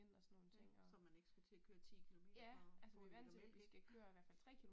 Ja, så man ikke skal til at køre 10 kilometer for at købe en liter mælk ja